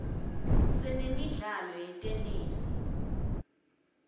sinemidlalo yetenesi